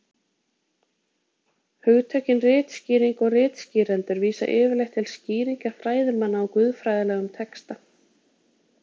Hugtökin ritskýring og ritskýrendur vísa yfirleitt til skýringa fræðimanna á guðfræðilegum texta.